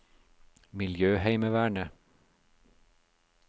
miljøheimevernet